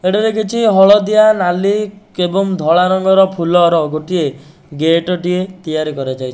ଏଠାରେ କିଛି ହଳଦିଆ ନାଲି କେବଂ ଧଳା ରଙ୍ଗର ଫୁଲର ଗୋଟିଏ ଗେଟ ଟିଏ ତିଆରି କରାଯାଇ --